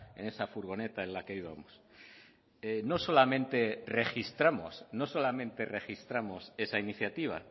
en esa furgoneta en la que íbamos no solamente registramos esa iniciativa